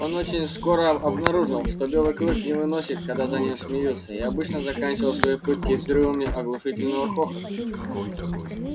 он очень скоро обнаружил что белый клык не выносит когда за ним смеются и обычно заканчивал свои пытки взрывами оглушительного хохота